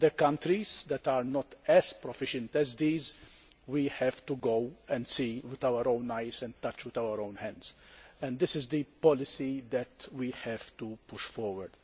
In other countries that are not as proficient as these, we have to go and see with our own eyes and touch with our own hands. This is the policy we have to push forward.